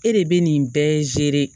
E de bɛ nin bɛɛ